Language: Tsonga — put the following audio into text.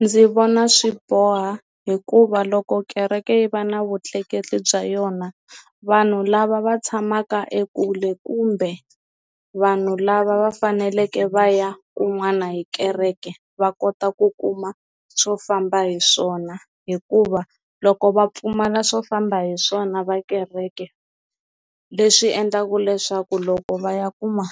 Ndzi vona swi boha hikuva loko kereke yi va na vutleketli bya yona vanhu lava va tshamaka ekule kumbe vanhu lava va faneleke va ya kun'wana hi kereke va kota ku kuma swo famba hi swona hikuva loko va pfumala swo famba hi swona va kereke leswi endlaku leswaku loko va ya kuma